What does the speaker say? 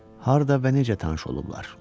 Harda və necə tanış olublar?